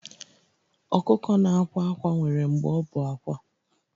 Ọkụkọ na-akwa ákwá nwere mgbe ọ bụ àkwá